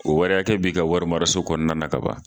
O wari akɛ bi ka wari maraso kɔnɔna na kaban